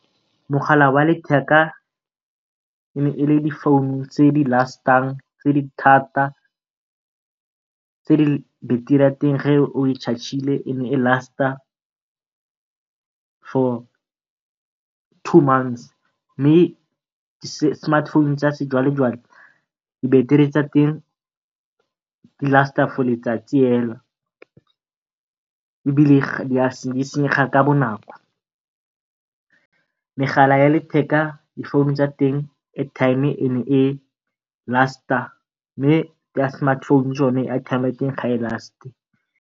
Mogala wa letheka e ne ele di founu tse di tse di thata, tse battery ya teng ge o e ene e for two months. Mme di smartphone tsa sejwalejwale di battery tsa teng di for letsatsi hela, ebile di senyega ka bonako. Megala ya letheka di founu tsa teng airtime ya teng ne e mme ya di smartphone tsone airtime ya teng ga e .